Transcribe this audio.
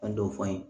An y'o fɔ an ye